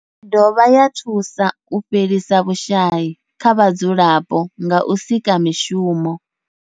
I dovha ya thusa u fhelisa vhushayi kha vhadzulapo nga u sika mishumo.